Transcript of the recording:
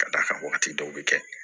Ka d'a kan wagati dɔw bɛ kɛ